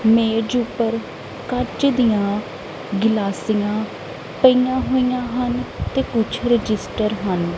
ਮੇਜ ਊਪਰ ਕੰਚ ਦੀਆਂ ਗਿਲਾਸੀਆਂ ਪਈਆਂ ਹੋਈਆਂ ਹਨ ਤੇ ਕੁੱਛ ਰਜਿਸਟਰ ਹਨ।